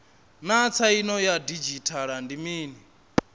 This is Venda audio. naa tsaino ya didzhithala ndi mini